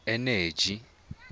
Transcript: eneji